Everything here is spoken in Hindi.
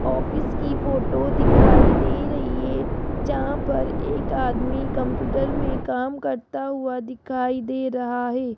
ऑफिस की फोटो दिखाई दे रही है जहां पर एक आदमी कंप्यूटर में काम करता हुआ दिखाई दे रहा है।